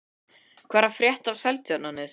Hvað er að frétta af Seltjarnarnesi?